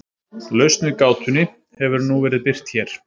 lausn við gátunni hefur nú verið birt hér